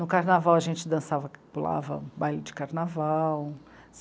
No carnaval, a gente dançava, pulava baile de carnaval.